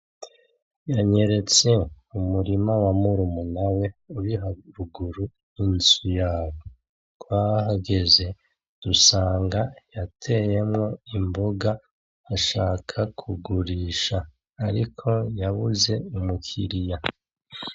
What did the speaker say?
Yanyeretse umurima wa murumuna we uri haruguru y'inzu yabo twahageze dusanga yateyemo imboga ashaka kugurisha, ariko yabuze umukiriya.